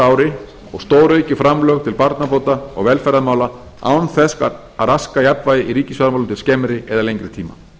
ári og stóraukið framlög til barnabóta og velferðarmála án þess að raska jafnvægi í ríkisfjármálum til skemmri eða lengri tíma